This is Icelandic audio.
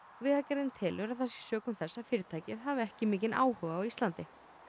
vegagerðin telur að það sé sökum þess að fyrirtækið hafi ekki mikinn áhuga á Íslandi